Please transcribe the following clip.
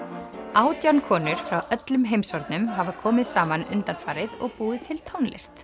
átján konur frá öllum heimshornum hafa komið saman undanfarið og búið til tónlist